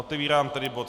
Otevírám tedy bod